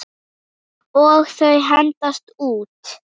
Og þau hendast út.